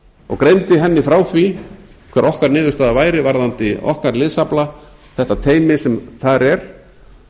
og greindi henni frá því hver okkar niðurstaða væri varðandi okkar liðsafla þetta teymi sem þar er